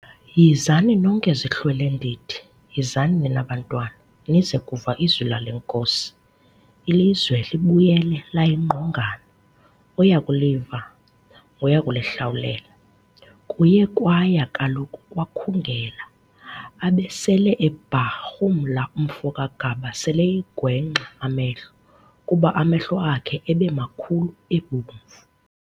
Yhizani nonke zihlwelendidi, yhizani nina bantwana, nize kuva izwi lale Nkosi, ilizwe libuyele layingqongana, oyakuliva ngoyakulihlawulela. Kuye kwaya kaloku kwakhungela, abesele ebharhumla umfo kaGaba sel'eyingwexa amehlo, kuba amehlo akhe ebemakhulu ebomvu.